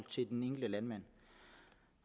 den enkelte landmand